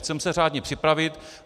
Chceme se řádně připravit.